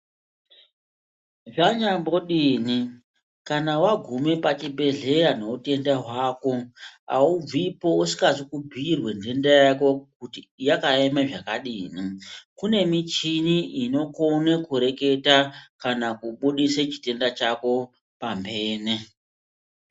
Zvanyambodini kana wagume pachibhedhleya nohutenda hwako haubvipo usikazi kubhuirwe nhenda yako kuti yakaeme zvakadini. Kune michini inokone kureketa kana kubudise chitenda chako pamhene.